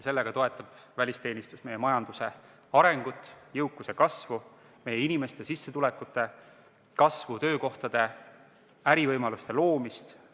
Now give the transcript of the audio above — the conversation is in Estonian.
Sellega toetab välisteenistus meie majanduse arengut, jõukuse kasvu, meie inimeste sissetulekute kasvu, töökohtade ja ärivõimaluste loomist.